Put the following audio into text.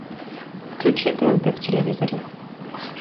включи тнт в телевизоре